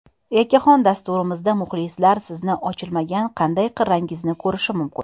Yakkaxon dasturingizda muxlislar sizni ochilmagan qanday qirrangizni ko‘rishi mumkin?